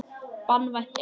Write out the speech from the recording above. Banvænt eitur.